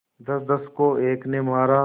दसदस को एक ने मारा